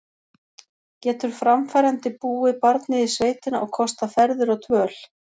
Getur framfærandi búið barnið í sveitina og kostað ferðir og dvöl?